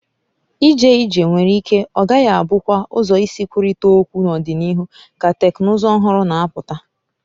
Ije ije nwere ike ọ gaghị abụkwa ụzọ isi nkwurịta okwu n'ọdịnihu ka teknụzụ ọhụrụ na-apụta